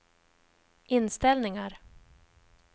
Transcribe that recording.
inställningar